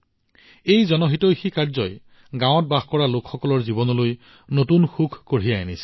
এই পৰোপকাৰৰ মনোভাৱে গাঁৱত বাস কৰা লোকসকলৰ জীৱনলৈ নতুন সুখ কঢ়িয়াই আনিছে